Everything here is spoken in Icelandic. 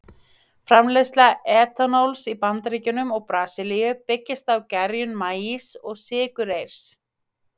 Framleiðsla etanóls í Bandaríkjunum og Brasilíu byggist á gerjun maís og sykurreyrs.